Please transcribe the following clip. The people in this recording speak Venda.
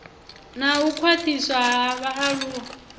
na u khwaṱhiswa ha vhaaluwa